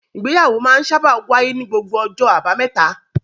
Ìgbéyàwó sábà máa ń wáyé ní gbogbo ọjọ́ àbámẹ́ta.